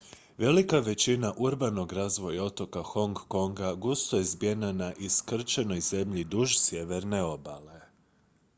velika većina urbanog razvoja otoka hong konga gusto je zbijena na iskrčenoj zemlji duž sjeverne obale